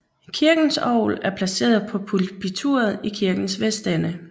Kirkens orgel er placeret på pulpituret i kirkens vestende